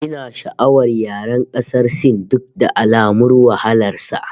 Ina sha'awar yaren ƙasar Sin duk da alamun wahalar sa